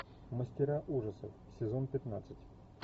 мастера ужасов сезон пятнадцать